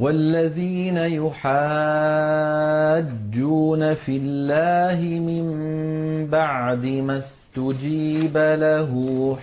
وَالَّذِينَ يُحَاجُّونَ فِي اللَّهِ مِن بَعْدِ مَا اسْتُجِيبَ لَهُ